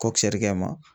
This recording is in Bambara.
Kɔkisiɛrikɛ ma